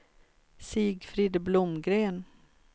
Sigfrid Blomgren